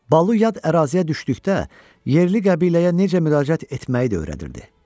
Balu yad əraziyə düşdükdə yerli qəbiləyə necə müraciət etməyi də öyrədirdi.